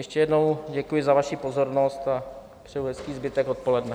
Ještě jednou děkuji za vaši pozornost a přeju hezký zbytek odpoledne.